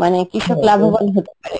মানে কৃষক লাভোবান হতে পারে.